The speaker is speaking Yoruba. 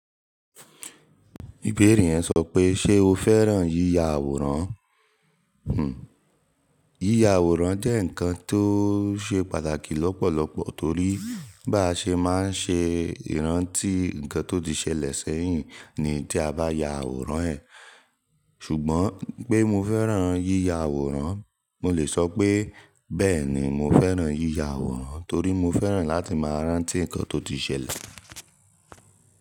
Ìbéèrè yẹn sọ pé ṣe o fẹ́ràn yíya àwòrán? Hmm. Yíya àwòrán jẹ́ ǹkan tó ṣe pàtàkì lọ́pọ̀lọpọ̀ torí bá ṣe máa ṣe ìrántí ǹkan tó ti ṣẹlẹ̀ sẹ́yìn ni tí a bá ya àwòrán ẹ̀. Ṣùgbọ́n pé mo fẹ́ràn yíya àwòrán, mo lè sọ pé bẹ́ẹ̀ni mo fẹ́ràn yíya àwòrán torí mo fẹ́ràn láti máa rántí ǹkan tó ti ṣẹlẹ̀.